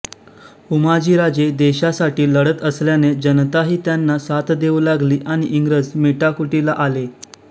उमाजीराजे देशासाठी लढत असल्याने जनताही त्यांना साथ देऊ लागली आणि इंग्रज मेटाकुटीला आले